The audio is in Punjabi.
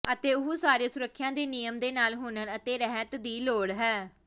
ਅਤੇ ਉਹ ਸਾਰੇ ਸੁਰੱਖਿਆ ਦੇ ਨਿਯਮ ਦੇ ਨਾਲ ਹੁਨਰ ਅਤੇ ਰਹਿਤ ਦੀ ਲੋੜ ਹੈ